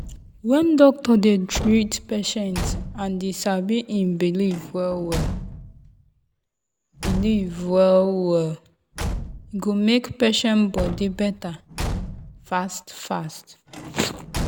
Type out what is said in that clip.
when doctor dey treat patient and e sabi en belief well-well belief well-well e go make patient body better fast-fast.